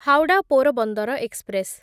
Howrah Porbandar express